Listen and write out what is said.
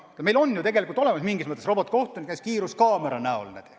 Meil on ju tegelikult mingis mõttes robotkohtunik näiteks kiiruskaamera näol olemas.